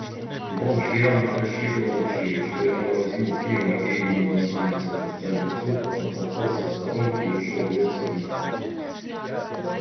бомж явно рассчитывавший что я возьму пива и ему достанется пустая бутылка потолкался в сторонке и ушёл греться в метро